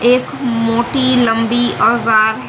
एक मोटी लंबी औजार है।